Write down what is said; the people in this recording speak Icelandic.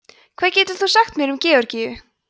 hvað getur þú sagt mér um georgíu